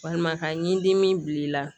Walima ka ɲi dimin bi la